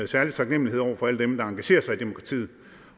særlig taknemlighed over for alle dem der engagerer sig i demokratiet